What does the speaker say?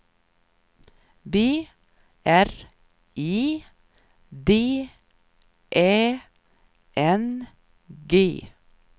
B R E D Ä N G